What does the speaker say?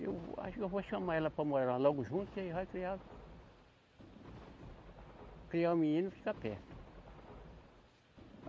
Eu acho que eu vou chamar ela para morar lá logo junto, que aí vai criar. Criar um menino e ficar perto.